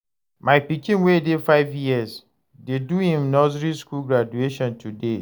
My pikin wey dey five years dey do im nursery skool graduation today.